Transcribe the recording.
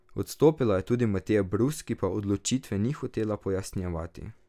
Odstopila je tudi Mateja Brus, ki pa odločitve ni hotela pojasnjevati.